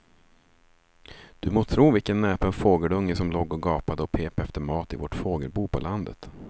Du må tro vilken näpen fågelunge som låg och gapade och pep efter mat i vårt fågelbo på landet.